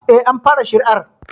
Eh, an fara shari'ar